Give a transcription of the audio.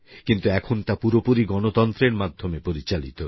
কিন্তু এখন তা পুরোপুরি গণতন্ত্রের মাধ্যমে পরিচালিত